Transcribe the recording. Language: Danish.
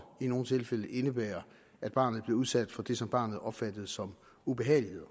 i nogle tilfælde indebære at barnet blev udsat for det som barnet opfattede som ubehageligheder